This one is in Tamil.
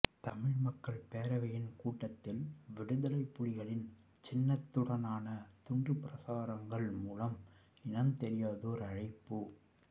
தமிழ் மக்கள் பேரவையின் கூட்டத்தில் விடுதலைப்புலிகளின் சின்னத்துடனான துண்டுபிரசுரங்கள் மூலம் இனம்தெரியாதோர் அழைப்பு